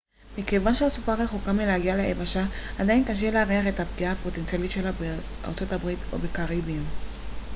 מכיוון שהסופה רחוקה מלהגיע ליבשה עדיין קשה להעריך את הפגיעה הפוטנציאלית שלה בארצות הברית או בקריביים